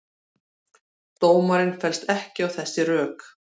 Dómarinn fellst ekki á þessi rök